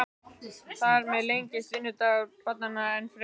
Þar með lengist vinnudagur barnanna enn frekar.